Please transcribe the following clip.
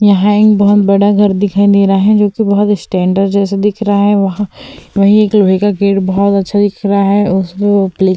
यहाँ एक बहुत बड़ा घर दिखाई दे रहा है जोकि बहुत स्टैण्डर्ड जैसा दिख रहा है वहाँ वही एक लोहे का गेट बहुत अच्छा दिख रहा है उस पे वो --